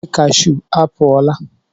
Oge cashew apụ ọ la.